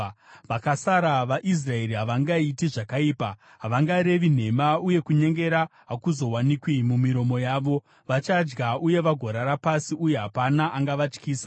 Vakasara vaIsraeri havangaiti zvakaipa; havangarevi nhema, uye kunyengera hakuzowanikwi mumiromo yavo. Vachadya uye vagorara pasi, uye hapana angavatyisa.”